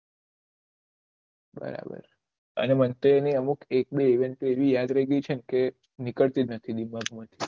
બરાબર અને મને તો એની અમુખ એવી યાદ રહી ગયી છે ને કે નીકળતી નથી દિમાગ માં થી